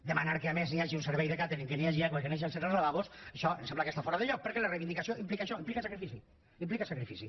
demanar que a més hi hagi un servei de càtering que hi hagi aigua i que hi hagi accés als lavabos això em sembla que està fora de lloc perquè la reivindicació implica això implica sacrifici implica sacrifici